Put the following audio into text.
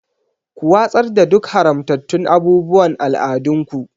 Ku watsar da duk haramtattun abubuwan al'adunku.